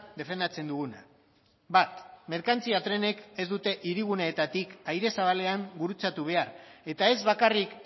defendatzen duguna bat merkantzia trenek ez dute hiriguneetatik aire zabalean gurutzatu behar eta ez bakarrik